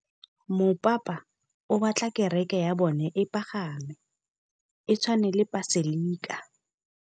Mopapa o batla kereke ya bone e pagame, e tshwane le paselika.